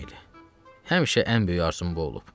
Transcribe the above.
Həmişə ən böyük arzum bu olub.